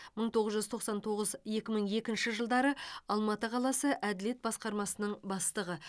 мың тоғыз жүз тоқсан тоғыз екі мың екінші жылдары алматы қаласы әділет басқармасының бастығы